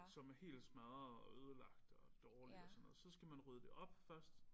Som er helt smadret og ødelagt og dårligt og sådan noget. Så skal man rydde det op først